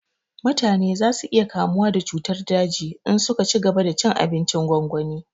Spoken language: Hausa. Mutane za su iya kamuwa da cutar daji in su ka cigaba da cin abincin gwangwani